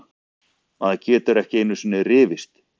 Maður getur ekki einusinni rifist!